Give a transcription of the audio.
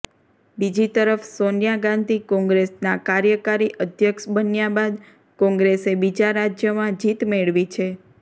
બીજી તરફ સોનિયા ગાંધી કોંગ્રેસના કાર્યકારી અધ્યક્ષ બન્યા બાદ કોંગ્રેસે બીજા રાજ્યમાં જીત મેળવી છે